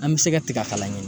An bɛ se ka tiga a kala ɲini